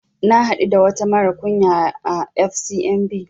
Na haɗu da wata mara kunya à FCMB